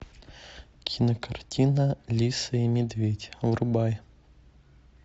кинокартина лисы и медведь врубай